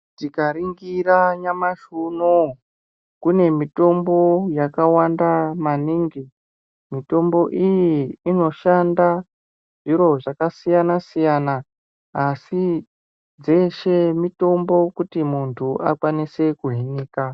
Tikaningira nyamashi unowu kune mitombo yakawanda maningi mitombo iyi inoshanda zviro zvakasiyana siyana asi dzeshe mitombo yekuti muntu akwanise kuhinike.